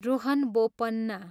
Rohan Bopanna